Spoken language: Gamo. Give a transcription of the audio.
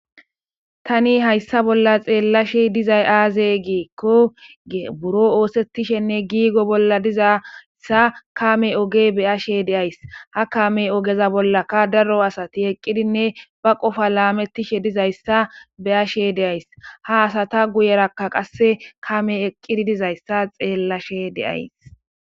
tani hayssa bolla xeellashi dizay aaze giikkoge buro oosettishenne giigo bolla dizassa kame oge beyashe deays ha kame ogeza bollaka daro asati eqqidinne ba qofa laamettishe dizayssa beyashe deays ha asata guyerakka qasse kame eqqidi dizayssa xeellashe deays